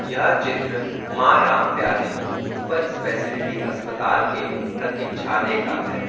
यह चित्र Maa Ram Pyari super speciality अस्पताल के प्रतीक्षालय का है।